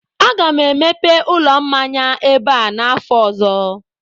aga m emepe ụlọ mmanya ebe a n'afọ ọzọ